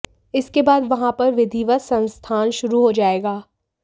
इसके बाद वहां पर विधिवत संस्थान शुरू हो जाएगा